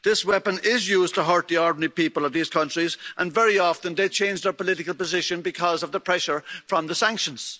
This weapon is used to hurt the ordinary people of these countries and very often they change their political position because of the pressure from the sanctions.